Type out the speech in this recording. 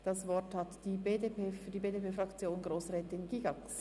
Das Wort hat für die BDPFraktion Grossrätin Gygax.